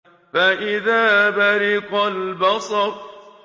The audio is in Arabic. فَإِذَا بَرِقَ الْبَصَرُ